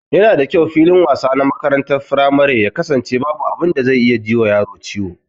Yana da kyau filin wasa na makarantar firamare ya kasance babu abin da zai iya ji wa yaro ciwo